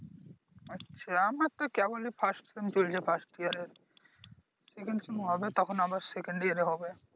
আচ্ছা আমার তো কেবলই ফার্স্ট সেম চলছে Exam চলছে First year এ সেকেন্ড সময় হবে তখন আবার Second year এ হবে